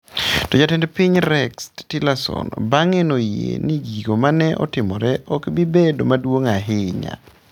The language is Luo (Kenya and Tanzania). To Jatend Piny Rex Tillerson bang'e noyie ni gigo mane otimore okbibedo maduong' ahinya.